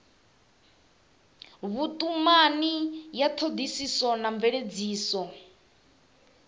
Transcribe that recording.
vhutumani ya thodisiso na mveledziso